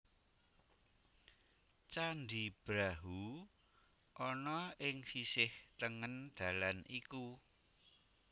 Candhi Brahu ana ing sisih tengen dalan iku